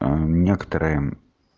а некоторые